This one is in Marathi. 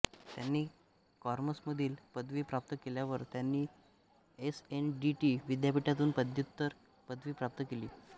त्यांनी कॉमर्समधली पदवी प्राप्त केल्यावर त्यांनी एस एन डी टी विद्यापीठातून पद्व्युत्तर पदवी प्राप्त केली